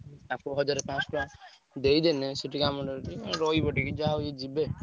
ତାଙ୍କୁ ହଜାର ପାଞ୍ଚଶହ ଟଙ୍କା ଦେଇଦେଲେ ସିଏ ରହିଯିବ ଟିକେ ଯାହା ହଉ ଏମାନେ ଯିବେ।